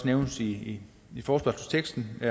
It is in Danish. nævnes i forespørgselsteksten og